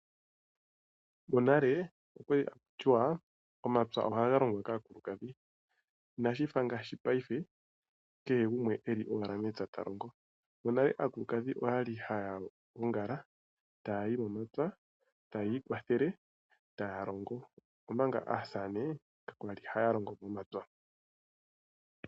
Monale okwa li haku tiwa omapya ohaga longwa kaakulukadhi, inashi fa ngaashi paife kehe gumwe eli owala mepya ta longo. Monale aakulukadhi oyali haya gongala taya yi momapya, taya ikwathele, taya longo. Omanga aasamane ka kwali haya longo momapya.